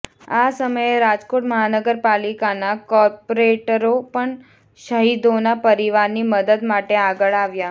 આ સમયે રાજકોટ મહાનગરપાલિકાના કોર્પોરેટરો પણ શહિદોના પરિવારની મદદ માટે આગળ આવ્યા